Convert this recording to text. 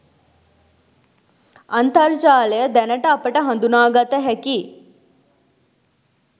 අන්තර්ජාලය දැනට අපට හඳුනාගත හැකි